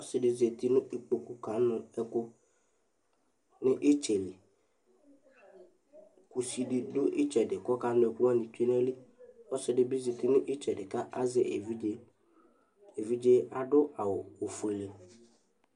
Ɔsɩ zati nʋ ikpoku kanʋ ɛkʋ nʋ ɩtsɛ li Kusi dɩ dʋ ɩtsɛdɩ kʋ ɔkanʋ ɛkʋ wanɩ tsue nʋ ayili Ɔsɩ dɩ bɩ zati nʋ ɩtsɛdɩ kʋ azɛ evidze Evidze yɛ adʋ awʋ ofuele